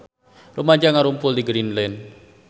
Rumaja ngarumpul di Greenland